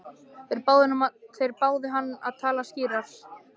Þeir báðu hann að tala skýrar.